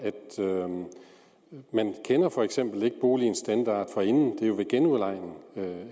at man for eksempel ikke kender boligens standard forinden det er jo ved genudlejning